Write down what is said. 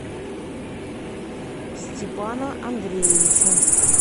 степана андреевича